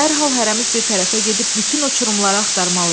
Dərhal hərəmiz bir tərəfə gedib bütün uçurumları axtarmalıyıq.